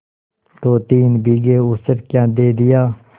दोतीन बीघे ऊसर क्या दे दिया